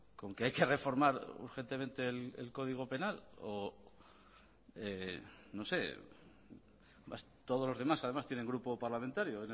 con que hay que reformar urgentemente el código penal o no sé todos los demás además tienen grupo parlamentario